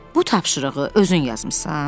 Bu tapşırığı özün yazmısan?